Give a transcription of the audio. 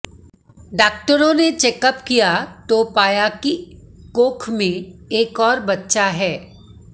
डॉकटरों ने चेकअप किया तो पाया कि कोख में एक और बच्चा है